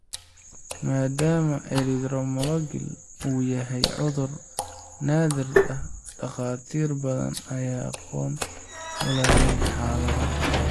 Maadaama erythromelalgia uu yahay cudur naadir ah, dhakhaatiir badan ayaan aqoon u lahayn xaaladda.